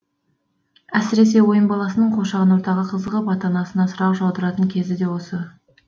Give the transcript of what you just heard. әсіресе ойын баласының қоршаған ортаға қызығып ата анасына сұрақ жаудыратын кез де осы